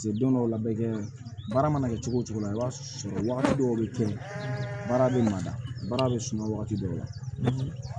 Se don dɔw la bɛ kɛ baara mana kɛ cogo o cogo i b'a sɔrɔ wagati dɔw bɛ kɛ baara bɛ mada baara bɛ suma wagati dɔw la